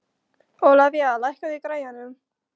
Ólivía, lækkaðu í græjunum.